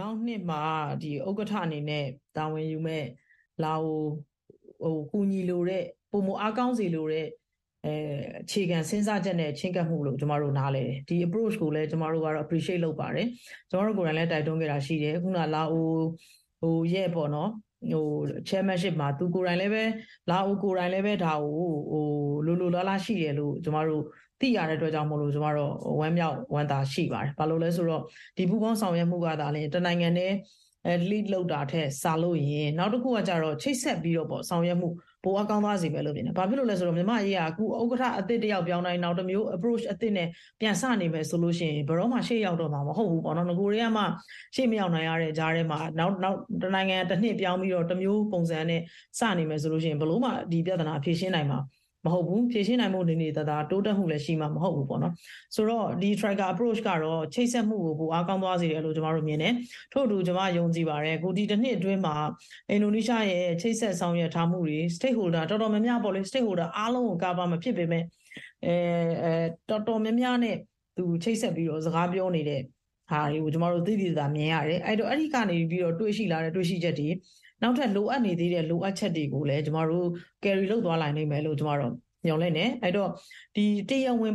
နောက်နှစ်မှာ ဥက္ကဋ္ဌအနေနဲ့တာဝန်ယူမယ့် လာအို၊ ကူညီလိုတဲ့-ပိုမိုအားကောင်းစေလိုတဲ့ အခြေခံစဥ်းစားချက်နဲ့ချဥ်းကပ်မှုလို့ ကျမတို့ နားလည်တယ်။ အခု approch ကိုလည်းကျမတို့က appriciate လုပ်ပါတယ်။ ကျမတို့ကိုယ်တိုင်လည်း တိုက်တွန်းခဲ့တာရှိတယ်။ လာအိုရဲ့ chairmanship မှာ သူကိုယ်တိုင်လည်းပဲ - လာအိုကိုယ်တိုင်လည်းပဲ ဒါကို လိုလိုလားလား ရှိတယ်လို့ သိရတဲ့အတွက်ကြောင့်မို့လို့ ကျမတို့ ဝမ်းမြောက်ဝမ်းသာရှိပါယ်။ ဘာလို့လဲဆိုတော့ ဒီပူးပေါင်းဆောင်ရွက်မှုကသာလျှင် တနိုင်ငံတည်း lead လုပ်တာထက်စာလိုက်ရင် နောက်တခုကကျတော့ ချိတ်ဆက်ပြီးတော့ ဆောင်ရွက်မှု ပိုအားကောင်းသွားစေမယ်လို့မြင်တယ်။ ဘာဖြစ်လို့လဲဆိုတော့ မြန်မာ့အရေးက ဥက္ကဋ္ဌအသစ်တယောက်ပြောင်းတိုင်း နောက်တမျိုး apporach အသစ်နဲ့ ပြန်စနေမယ်ဆိုလို့ရှိရင် ဘယ်တော့မှ ရှေ့ရောက်တေ့ာမှာ မဟုတ်ဘူးပေါ့နော်၊ နဂိုရ်ထဲကမှ ရှေ့မရောက်နိုင်ရတဲ့ကြားထဲမှာ တနိုင်ငံတနှစ်ပြောင်းပြီးတော့ နောက်တမျိုးပုံစံနဲ့ စနေမယ်ဆိုလို့ရှိရင် ဘယ်လိုမှ ဒီပြဿနာက ဖြေရှင်းနိုင်မှာမဟုတ်ဘူး။ ဖြေရှင်းနိုင်ဖို့နေနေသာသာ တိုးတက်မှုလည်း ရှိမှာမဟုတ်ဘူးပေ့ါနော်။...ဆိုတော့ ဒီ trioca approch ကတော့ ချိတ်ဆက်မှုကို ပိုအားကောင်းသွားစေတယ်လို့ ကျမတို့မြင်တယ်။ ထို့အတူ ကျမ ယုံကြည်ပါတယ်။ တနှစ်အတွင်းမှာ အင်ဒိုနီးရှားရဲ့ ချိတ်ဆက်ဆောင်ရွက်ထားမှုတွေ... Stateholder အတော်များများ... Stateholder အားလုံးကို cover မဖြစ်ပေမဲ့ တော်တော်များများနဲ့ ချိတ်ဆက်ပြီးတော့ စကားပြောနေတာတွေကို ကျမတို့ သိသိသာသာမြင်ရတယ်။ အဲဒီကနေပြီးတော့ တွေ့ရှိလာတဲ့ တွေ့ရှိချက်တွေ၊ နောက်ထပ် လိုအပ်နေသေးတဲ့ လိုအပ်ချက်တွေကိုလည်း ကျမတို့ carry လုပ်သွားနိုင်လိမ့်မယ်လို့ ကျမတို့ မျှော်လင့်တယ်။ ပြီးတော့ တရားဝင်